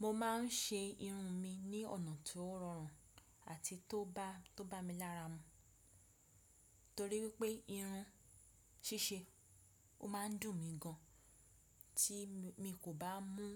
Mo ma n ṣe irun mi ní ọ̀nà tó rọrùn àti tó bá mi lára mu, torí pé irun ṣíṣe ó ma n dùn mi gan tí mi kò bá mú